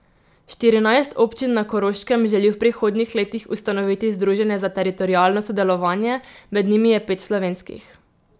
Štirinajst občin na Koroškem želi v prihodnjih letih ustanoviti združenje za teritorialno sodelovanje, med njimi je pet slovenskih.